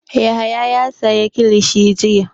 Yahaya ya sayi kilishi jiya.